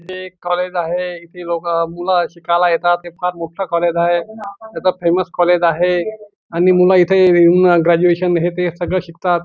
हे एक कॉलेज आहे इथे लोक मुलं शिकायला येतात हे फार मोठं कॉलेज आहे हे फेमस कॉलेज आहे आणि मुलं इथे येऊन ग्रॅजुएशन हे ते सगळं शिकतात.